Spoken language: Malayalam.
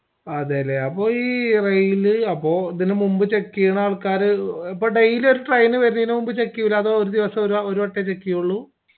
അതെല്ലേ അപ്പൊ ഈ rail അപ്പൊ ഇതിന് മുമ്പ് check ചെയ്യണ ആൾക്കാറ് ഇപ്പൊ daily ഒരു train വരുന്നെനു മുമ്പ് check ചെയ്യൂലാ ഒരു ദിവസം ഒരു വട്ടേ check ചെയ്യുള്ളു